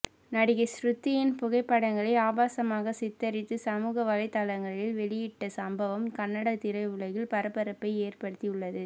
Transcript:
நடிகை ஸ்ருதியின் புகைப்படங்களை ஆபாசமாக சித்தரித்து சமூக வலைதளங்களில் வெளியிட்ட சம்பவம் கன்னட திரையுலகில் பரபரப்பை ஏற்படுத்தி உள்ளது